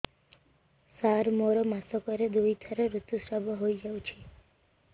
ସାର ମୋର ମାସକରେ ଦୁଇଥର ଋତୁସ୍ରାବ ହୋଇଯାଉଛି